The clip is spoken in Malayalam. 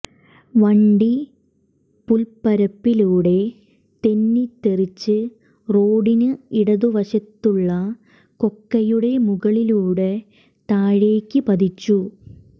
വണ്ടി പുല്പ്പരപ്പിലൂടെ തെന്നിത്തെറിച്ച് റോഡിന് ഇടതുവശത്തുള്ള കൊ ക്കയുടെ മുകളിലൂടെ താഴേയ്ക്ക് പതിച്ചു